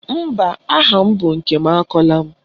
Mba, aha m bụ Nkemakọla